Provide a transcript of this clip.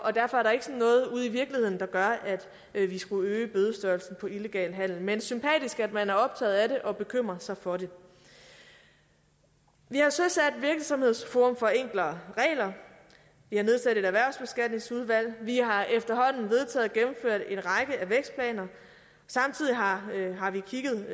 og derfor er der ikke noget ude i virkeligheden der gør at vi vi skulle øge bødestørrelsen for illegal handel men sympatisk er det at man er optaget af det og bekymrer sig for det vi har søsat virksomhedsforum for enklere regler vi har nedsat erhvervsbeskatningsudvalget vi har efterhånden vedtaget og gennemført en række af vækstplaner samtidig har vi kigget